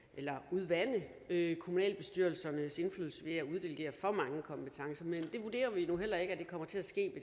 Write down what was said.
udvande kommunalbestyrelsernes indflydelse ved at uddelegere for mange kompetencer men det vurderer vi nu heller ikke kommer til at ske